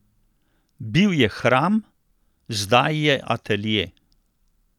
Bil je hram, zdaj je atelje!